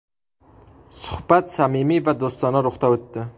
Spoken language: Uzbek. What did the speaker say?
Suhbat samimiy va do‘stona ruhda o‘tdi.